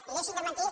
i deixin de mentir